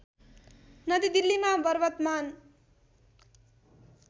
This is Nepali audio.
नदी दिल्लीमा वर्तमान